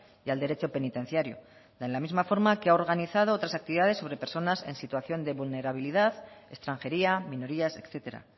y al derecho penitenciario de la misma forma que ha organizado otras actividades sobre personas en situación de vulnerabilidad extranjería minorías etcétera